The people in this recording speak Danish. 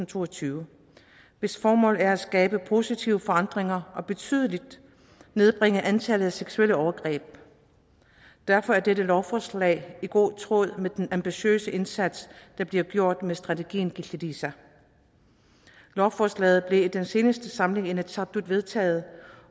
to og tyve hvis formål er at skabe positive forandringer og betydeligt nedbringe antallet af seksuelle overgreb derfor er dette lovforslag i god tråd med den ambitiøse indsats der bliver gjort med strategien killiliisa lovforslaget blev ved den seneste samling i inatsisartut vedtaget